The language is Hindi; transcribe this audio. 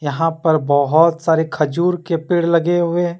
यहां पर बहोत सारे खजूर के पेड़ लगे हुए--